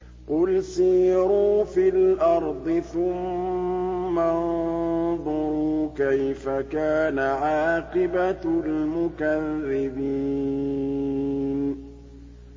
قُلْ سِيرُوا فِي الْأَرْضِ ثُمَّ انظُرُوا كَيْفَ كَانَ عَاقِبَةُ الْمُكَذِّبِينَ